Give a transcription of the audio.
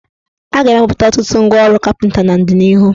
A ga-emepụta ọtụtụ ngwaọrụ kapịnta n' ọdịnihu.